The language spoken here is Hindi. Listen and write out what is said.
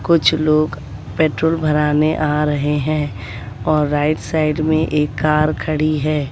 कुछ लोग पेट्रोल भराने आ रहे हैं और राइट साइड में एक कार खड़ी है।